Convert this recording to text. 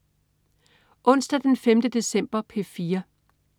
Onsdag den 5. december - P4: